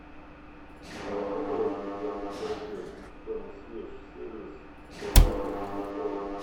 работает ли консьерж сервис в отеле аврора